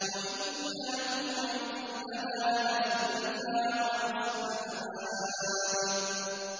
وَإِنَّ لَهُ عِندَنَا لَزُلْفَىٰ وَحُسْنَ مَآبٍ